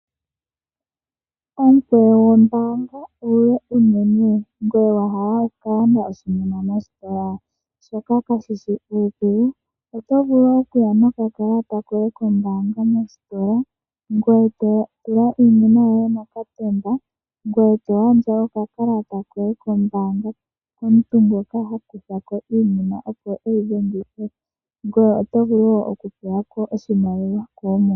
Omukweyo gwombaanga omule unene ngweye wa hala oku ka landa oshinima mositola? Shoka kashishi uudhigu, oto vulu okuya nokà kalata koye oombaanga mositola Ngoye oto vulu wo okutulako oshimaliwa shoye koomuma.